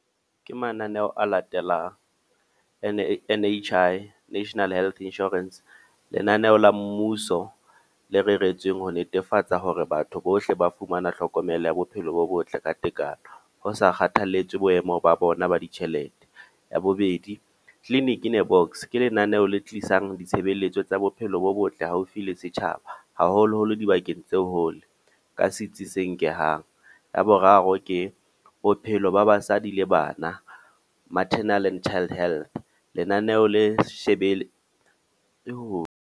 Ke mananeho a latelang, N_H_I National Health Insurance. Lenaneo la mmuso, le reretsweng ho netefatsa hore batho bohle ba fumana tlhokomelo ya bophelo bo botle ka tekano. Ho sa kgathaletse boemo ba bona ba ditjhelete. Ya bobedi, Clinic In A Box, ke lenaneho le tlisang ditshebeletso tsa bophelo bo botle haufi le setjhaba. Haholo-holo dibakeng tseo hole ka sitsi se nkhang. Ya boraro ke bophelo ba basadi le bana. Maternal and Child Health. Lenaneo le shebele .